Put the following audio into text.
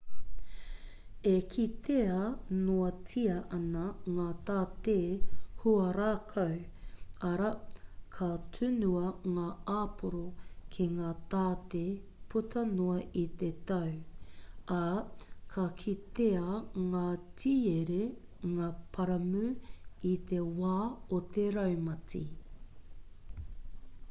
e kitea noatia ana ngā tāte huarākau arā ka tunua ngā āporo ki ngā tāte puta noa i te tau ā ka kitea ngā tiere ngā paramu i te wā o te raumati